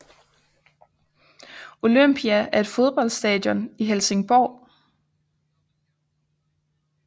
Olympia er et fodboldstadion i Helsingborg